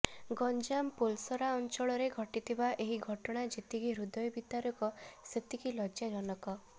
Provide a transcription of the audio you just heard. ଗଂଜାମ ପୋଲସରା ଅଂଚଳରେ ଘଟିଥିବା ଏହି ଘଟଣା ଯେତିକି ହୃଦୟ ବିଦାରକ ସେତିକି ଲଜ୍ଜାଜନକ